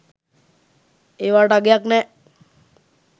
ඒවාට අගයක් නෑ